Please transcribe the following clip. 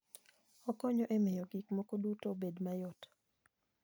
Okonyo e miyo gik moko duto obed mayot.